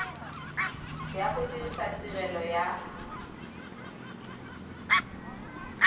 ya go dirisa tirelo ya